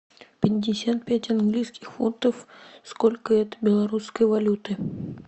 пятьдесят пять английских фунтов сколько это белорусской валюты